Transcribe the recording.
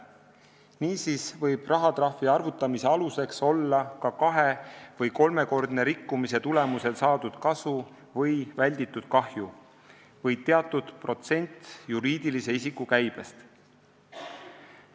Niisiis võib rahatrahvi arvutamise aluseks olla ka kahe- või kolmekordse rikkumise tulemusel saadud kasu või välditud kahju või teatud protsent juriidilise isiku käibest.